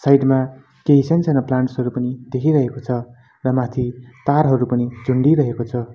Side मा केही सानसानो प्लान्ट्स हरू पनि देखिरहेको छ र माथि तारहरू पनि झुन्डिरहेको छ।